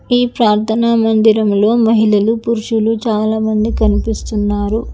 ఈ ప్రార్థన మందిరంలో మహిళలు పురుషుడు చాలా మంది కనిపిస్తున్నారు.